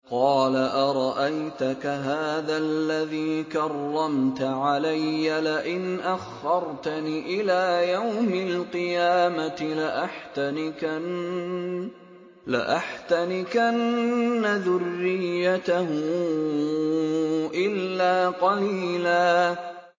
قَالَ أَرَأَيْتَكَ هَٰذَا الَّذِي كَرَّمْتَ عَلَيَّ لَئِنْ أَخَّرْتَنِ إِلَىٰ يَوْمِ الْقِيَامَةِ لَأَحْتَنِكَنَّ ذُرِّيَّتَهُ إِلَّا قَلِيلًا